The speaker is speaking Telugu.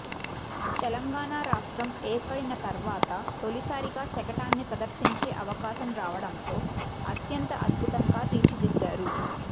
తెలంగాణ రాష్ట్రం ఏర్పడిన తర్వాత తొలిసారిగా శకటాన్ని ప్రదర్శించే అవకాశం రావడంతో అత్యంత అధ్బుతంగా తీర్చిదిద్దారు